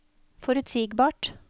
forutsigbart